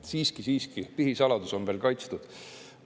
Siiski, siiski, pihisaladus on veel kaitstud.